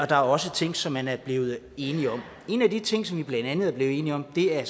der er også ting som man er blevet enige om en af de ting som vi blandt andet er blevet enige om er at